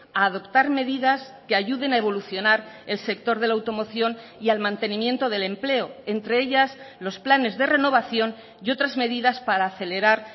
a adoptar medidas que ayuden a evolucionar el sector de la automoción y al mantenimiento del empleo entre ellas los planes de renovación y otras medidas para acelerar